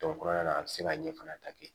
kɔnɔna na a bɛ se ka ɲɛ fana ta kɛ